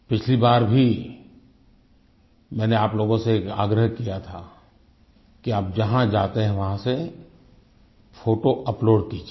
पिछली बार भी मैंने आप लोगों से एक आग्रह किया था कि आप जहाँ जाते हैं वहाँ से फोटो अपलोड कीजिए